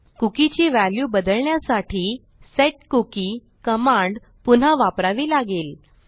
cookie ची value बदलण्यासाठी set cookie command पुन्हा वापरावी लागेल